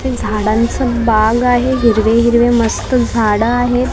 हे झाडांचं बाग आहे हिरवे हिरवे मस्त झाडं आहेत .